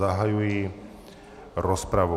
Zahajuji rozpravu.